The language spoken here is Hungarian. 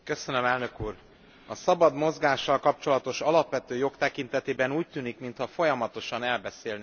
A szabad mozgással kapcsolatos alapvető jog tekintetében úgy tűnik, mintha folyamatosan elbeszélnénk egymás mellett.